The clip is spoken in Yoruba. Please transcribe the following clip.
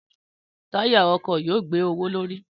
Táyà ọkọ̀ yóò gbé owó l'órí